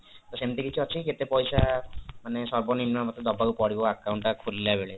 ତ ସେମତି କିଛି ଅଛି କି କେତେ ପଇସା ମାନେ ସର୍ବନିମ୍ନ ଦବାକୁ ପଡିବ account ଟା ଖୋଲିଲାବେଳେ